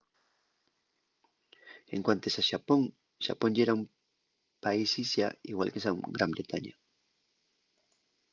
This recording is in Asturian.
en cuantes a xapón xapón yera un país-islla igual que gran bretaña